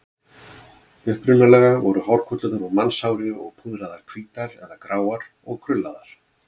Upprunalega voru hárkollurnar úr mannshári og púðraðar hvítar eða gráar og krullaðar.